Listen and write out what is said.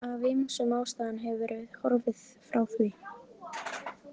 Af ýmsum ástæðum hefur verið horfið frá því.